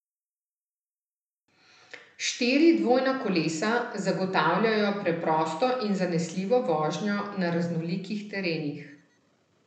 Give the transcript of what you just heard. Štiri dvojna kolesa zagotavljajo preprosto in zanesljivo vožnjo na raznolikih terenih.